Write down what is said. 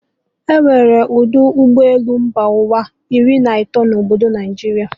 E nwere ọdọ ụgbọ elu mba ụwa iri na atọ na obodo Naijiria